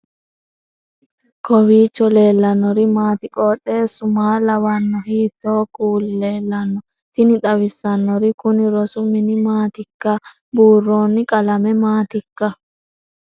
kowiicho leellannori maati ? qooxeessu maa lawaanno ? hiitoo kuuli leellanno ? tini xawissannori kuni rosu mini maatikka buurroonni qalame maatikka